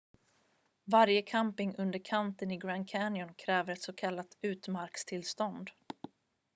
varje camping under kanten i grand canyon kräver ett s.k. utmarkstillstånd